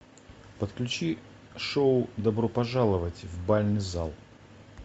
подключи шоу добро пожаловать в бальный зал